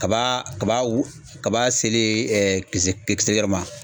Kaba kaba wu kaba selen ɛ kisɛ kisɛ yɔrɔ ma